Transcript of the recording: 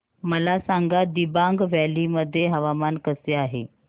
मला सांगा दिबांग व्हॅली मध्ये हवामान कसे आहे